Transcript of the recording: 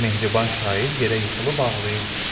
Mehriban şair yerə yıxılıb ağlayırdı.